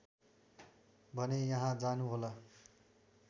भने यहाँ जानुहोला